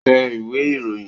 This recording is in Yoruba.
Tẹ ìwé ìròyìn